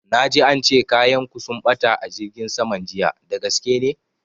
Na ji ance kayan ku sun ɓata a jirgin saman jiya, dagaske ne?